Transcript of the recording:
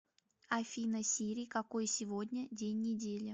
афина сири какой сегодня день недели